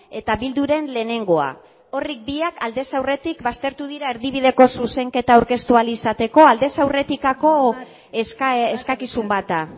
eta bilduren lehenengoa horiek biak aldez aurretik baztertu dira erdibideko zuzenketa aurkeztu ahal izateko aldez aurretikako eskakizun bat da